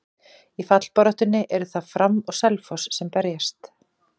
Í fallbaráttunni eru það Fram og Selfoss sem berjast.